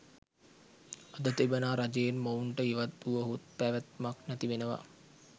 අද තිබෙනා රජයෙන් මොවුන්ට ඉවත් වුවහොත් පෑවෑත්මක් නෑති වෙනවා